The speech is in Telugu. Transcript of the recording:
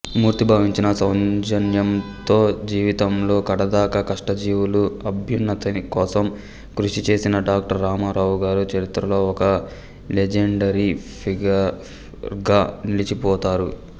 మూర్తీభవించిన సౌజన్యంతో జీవితంలో కడదాకా కష్టజీవుల అభ్యున్నతికోసం కృషిచేసిన డాక్టర్ రామారావు గారు చరిత్రలో ఒక లిజెండరీఫిగర్గా నిలిచిపోతారు